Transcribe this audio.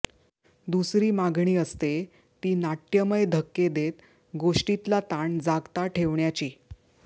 दुसरी मागणी असते ती नाट्यमय धक्के देत गोष्टीतला ताण जागता ठेवण्याची